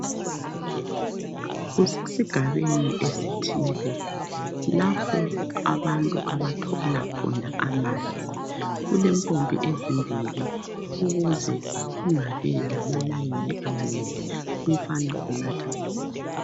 Kusesigabeni esithile lapho abantu abathola khona amanzi. Kulempompi ezimbili ukuze kungabi lama layini amanengi. Umfana unatha amanzi.